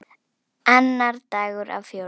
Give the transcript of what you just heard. Annar dagur af fjórum.